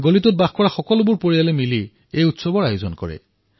গলিসমূহৰ পৰিয়ালসকলে মিলি এয়া অনুষ্ঠিত কৰে